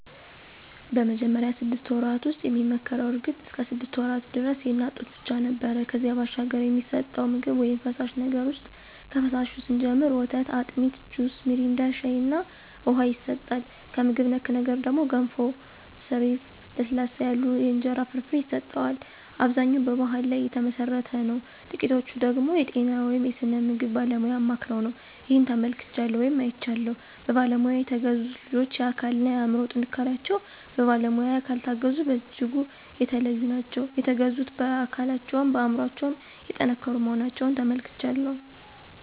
በመጀመሪያው ስድስት ወራት ውስጥ የሚመከረው እርግጥ እስከ ሰድስት ወራት ደረስ የእናት ጡት ብቻ ነው ነበር ከዚያ ባሻገር የሚሰጠቸው ምግብ ውይም ፈሳሽ ነገር ውሰጥ ከፈሳሹ ስንጀምር ወተት፣ አጢሚት፣ ጁስ ሚሪንዳ፣ ሻይ እና ውሃ ይሰጠዋል። ከምግብ ነክ ነገር ደግሞ ገንፎ፣ ሰሪፍ፣ ለስለስ ያሉ የእንጀራ ፍርፍር ይሰጠዋል። አብዛኛው በባሕል ላይ ተመሠረተ ነው ጥቂቶቹ ደገሞ የጤና ወይም የስነ ምግብ ባለሙያ አማክረው ነው። ይህን ተመልክቻለሁ ወይም አይቻለሁም። በባለሙያ የተገዙት ልጆች የአካል እና የአምሮ ጥንካሪቸው በባለሙያ ካልታገዙት በጅጉ የተለዩ ናቸው። የተገዙት በአካለቸውም በአምሮቸው የጠንከሩ መሆናቸውን ተመልክቻለሁ።